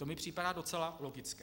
To mi připadá docela logické.